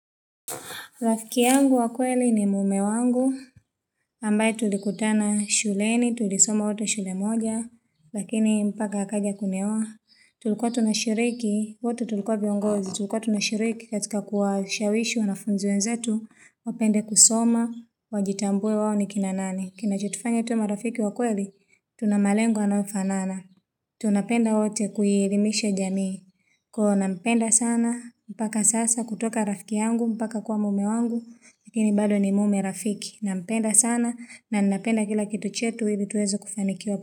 Rafiki yangu wa kweli ni mume wangu, ambaye tulikutana shuleni, tulisoma wote shule moja, lakini mpaka akaja kunioa, tulikuwa tunashiriki, wote tulikuwa viongozi, tulikuwa tunashiriki katika kuwa shawishi wanafunzi wenzetu, wapende kusoma, wajitambue wao ni kina nani. Kinacho tufanya tu marafiki wakweli, tunamalengo yanayofanana. Tunapenda wote kuielimisha jamii. Huwa nampenda sana, mpaka sasa kutoka rafiki yangu, mpaka kwa mume wangu, lakini bado ni mume rafiki. Nampenda sana na ninapenda kila kitu chetu ili tuweze kufanikiwa.